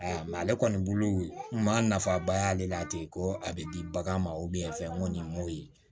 Mɛ ale kɔni bolo maa nafaba y'ale la ten ko a bɛ di bagan ma fɛn ko nin m'o ye